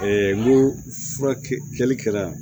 n ko furaki kɛli kɛra